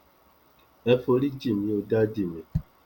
ẹ forí jìn mí o dádì mi